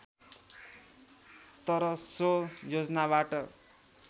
तर सो योजनाबाट